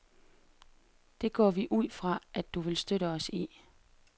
Det går vi ud fra, at du vil støtte os i.